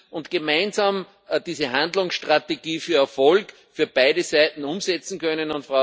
und gemeinsam diese Handlungsstrategie mit Erfolg für beide Seiten umsetzen können.